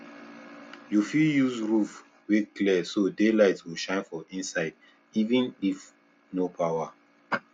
you fit use roof wey clear so daylight go shine for inside even if no power